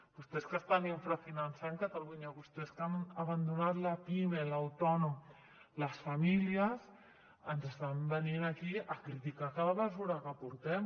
vostès que estan infrafinançant catalunya vostès que han abandonat la pime l’autònom les famílies ens estan venint aquí a criticar cada mesura que portem